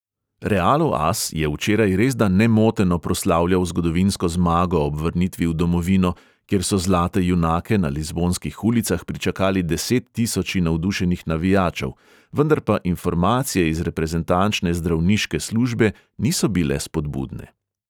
Realov as je včeraj resda nemoteno proslavljal zgodovinsko zmago ob vrnitvi v domovino, kjer so zlate junake na lizbonskih ulicah pričakali desettisoči navdušenih navijačev, vendar pa informacije iz reprezentančne zdravniške službe niso bile spodbudne.